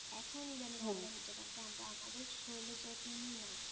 এখন ইদানিং আমাদের হচ্ছে কারণ কি আমরা আমাদের শরীরের যত্ন নি না.